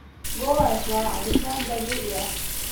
Gours waa cabitaan dabiici ah.